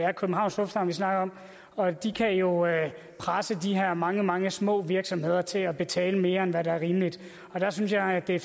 er københavns lufthavn vi snakker om og de kan jo presse de her mange mange små virksomheder til at betale mere end hvad der er rimeligt der synes jeg at det